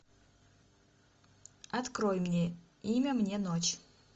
открой мне имя мне ночь